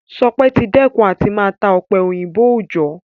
Ṣọpẹ́ ti dẹ́kun àti máa ta ọ̀pẹ-òyìnbó òòjọ́